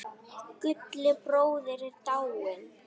Gulli bróðir er dáinn.